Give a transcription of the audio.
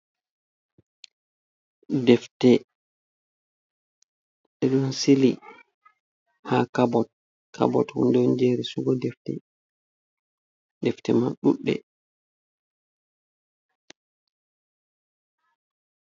Defte irin sili ha kabot, kabot hunde on je resugo defte, defte man ɗuɗɗe.